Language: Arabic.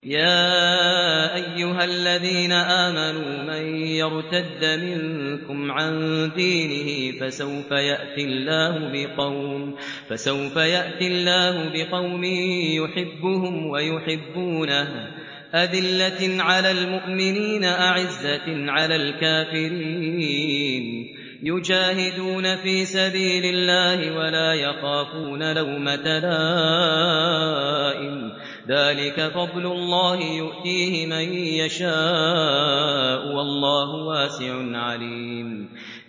يَا أَيُّهَا الَّذِينَ آمَنُوا مَن يَرْتَدَّ مِنكُمْ عَن دِينِهِ فَسَوْفَ يَأْتِي اللَّهُ بِقَوْمٍ يُحِبُّهُمْ وَيُحِبُّونَهُ أَذِلَّةٍ عَلَى الْمُؤْمِنِينَ أَعِزَّةٍ عَلَى الْكَافِرِينَ يُجَاهِدُونَ فِي سَبِيلِ اللَّهِ وَلَا يَخَافُونَ لَوْمَةَ لَائِمٍ ۚ ذَٰلِكَ فَضْلُ اللَّهِ يُؤْتِيهِ مَن يَشَاءُ ۚ وَاللَّهُ وَاسِعٌ عَلِيمٌ